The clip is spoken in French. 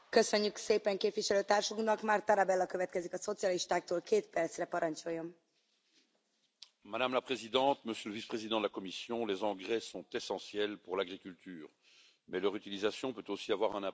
Madame la Présidente, Monsieur le Vice président de la Commission, les engrais sont essentiels pour l'agriculture, mais leur utilisation peut aussi avoir un impact négatif sur l'environnement et sur la sécurité alimentaire, en particulier lorsque les contaminants sont présents dans ces produits.